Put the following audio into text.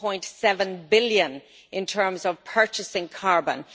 1.7 billion in terms of purchasing carbon.